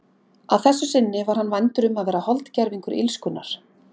Að þessu sinni var hann vændur um að vera holdgervingur illskunnar.